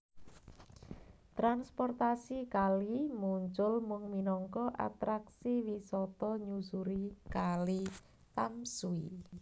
Transportasi kali muncul mung minangka atraksi wisata nyusuri Kali Tamsui